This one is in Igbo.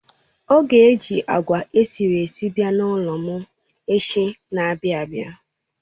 Ọ ga eji agwa esiri esi abia n'ulom echi n'abia abia